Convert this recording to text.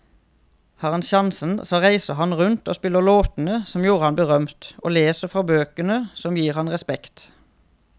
Har han sjansen så reiser han rundt og spiller låtene som gjorde ham berømt, og leser fra bøkene som gir ham respekt.